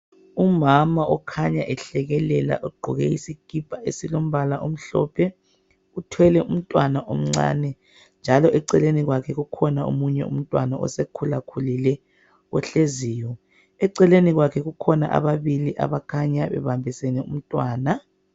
Umama okhanya ehlekelela ugqoke isikipa esilombala omhlophe uthwele umntwana omncane njalo eceleni kwakhe kukhona omunye umntwana osekhula-khulile ohleziyo eceleni kwakhe kukhona ababili abakhanya bebambisene umntwana